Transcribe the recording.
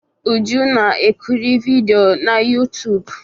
Uju na-ekiri vidiyo na YouTụ́b.